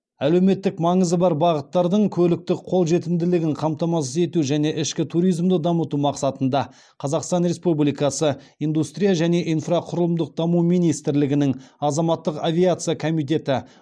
әлеуметтік маңызы бар бағыттардың көліктік қолжетімділігін қамтамасыз ету және ішкі туризмді дамыту мақсатында қазақстан республикасы индустрия және инфрақұрылымдық даму министрлігінің азаматтық авиация комитеті